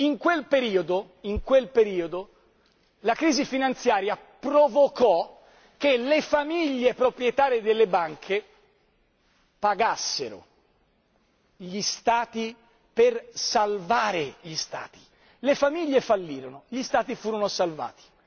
Bene, in quel periodo, a causa della crisi finanziaria, le famiglie proprietarie delle banche pagarono gli Stati per salvare gli Stati le famiglie fallirono, gli Stati furono salvati.